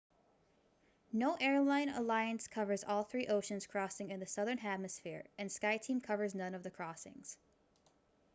no airline alliance covers all three ocean crossings in the southern hemisphere and skyteam covers none of the crossings